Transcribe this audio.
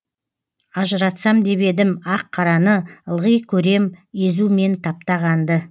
ажыратсам деп едім ақ қараны ылғи көрем езу мен таптағанды